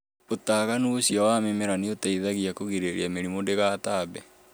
ũtaganu ũcio wa mĩmera nĩ ũteithagia kũgirĩrĩria mĩrimũ ndĩgatambe.